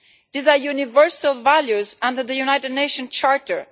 These are universal values under the United Nations Charter.